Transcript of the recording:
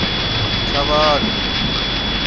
chavani